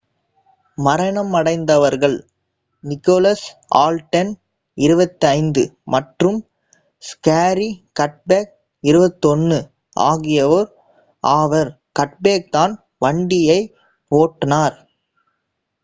மரணமடைந்தவர்கள் Nicholas Alden 25 மற்றும் Zachary கட்பேக் 21 ஆகியோர் ஆவர் கட்பேக்தான் வண்டியின் ஓட்டுனர்